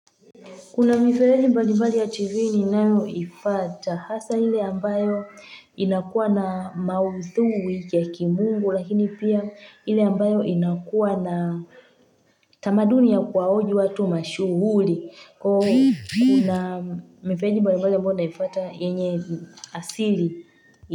Kuna mifereji mbali mbali ya chivini nayo ifata hasa hile ambayo inakuwa na mauthui ya kimungu lakini pia ile ambayo inakuwa na tamaduni ya kuwahoji watu mashuhuri kuna mifeleji mbali ambayo unaipata yenye asili.